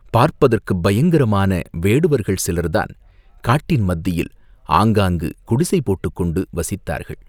பார்ப்பதற்குப் பயங்கரமான வேடுவர்கள் சிலர்தான் காட்டின் மத்தியில் ஆங்காங்கு குடிசை போட்டுக் கொண்டு வசித்தார்கள்.